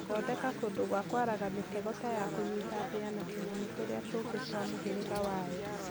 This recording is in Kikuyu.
Thondeka kũndũ gwa kwaraga mĩtego ta ya kũnyita mbĩya na tũnyamũ tũrĩa tũngĩ twa mũhĩrĩga wayo.